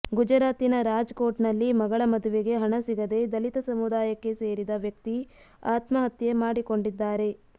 ಗುಜರಾತಿನ ರಾಜ್ ಕೋಟ್ ನಲ್ಲಿ ಮಗಳ ಮದುವೆಗೆ ಹಣ ಸಿಗದೆ ದಲಿತ ಸಮುದಾಯಕ್ಕೆ ಸೇರಿದ ವ್ಯಕ್ತಿ ಆತ್ಮಹತ್ಯೆ ಮಾಡಿಕೊಂಡಿದ್ದಾರೆ